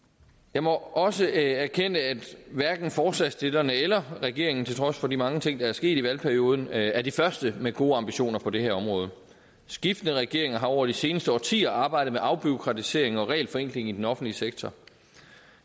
jeg må også erkende at hverken forslagsstillerne eller regeringen til trods for de mange ting der er sket i valgperioden er er de første med gode ambitioner på det her område skiftende regeringer har over de seneste årtier arbejdet med afbureaukratisering og regelforenkling i den offentlige sektor